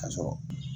Ka sɔrɔ